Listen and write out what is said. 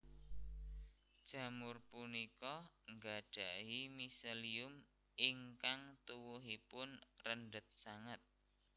Jamur punika nggadhahi miselium ingkang tuwuhipun rendhet sanget